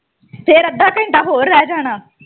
ਫਿਰ ਅੱਧਾ ਘੰਟਾ ਹੋਰ ਰਹਿ ਜਾਣਾ।